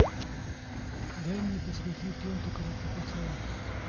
дай мне посмотреть ленту каратэ пацан